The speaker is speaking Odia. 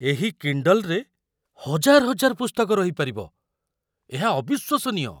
ଏହି 'କିଣ୍ଡଲ୍'ରେ ହଜାର ହଜାର ପୁସ୍ତକ ରହିପାରିବ । ଏହା ଅବିଶ୍ୱସନୀୟ!